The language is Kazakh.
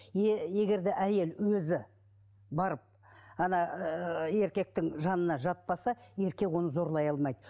егер де әйел өзі барып ана ыыы еркектің жанына жатпаса еркек оны зорлай алмайы